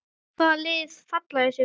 Hvaða lið falla í sumar?